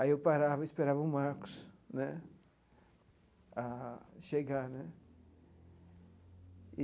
Aí eu parava e esperava o Marcos né chegar né.